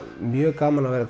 mjög gaman að vera